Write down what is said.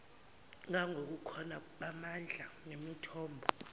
ngangobukhona bamandla nemithombo